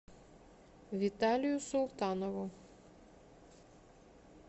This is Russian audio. виталию султанову